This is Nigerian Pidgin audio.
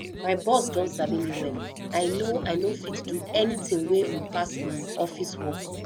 my boss don sabi me well i no i no fit do anything wey um pass office um work